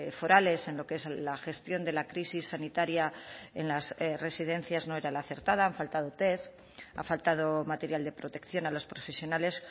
forales en lo que es la gestión de la crisis sanitaria en las residencias no era la acertada han faltado test ha faltado material de protección a los profesionales